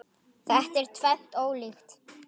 Þetta er tvennt ólíkt.